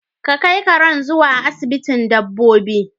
Ka kai karen zuwa asibitin dabbobi